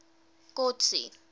kotsi